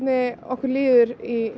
okkur líður